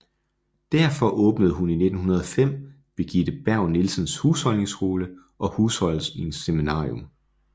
Derfor åbnede hun i 1905 Birgitte Berg Nielsens Husholdningsskole og Husholdningsseminarium